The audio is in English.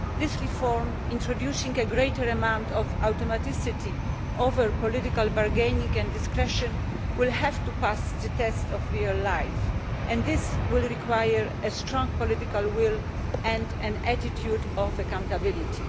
This reform, introducing a greater amount of automaticity over political bargaining and discretion, will have to pass the test of real life and this will require a strong political will and an attitude of accountability.